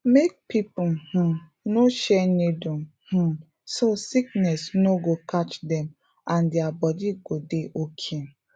make people um no share needle um so sickness no go catch dem and their body go dey okay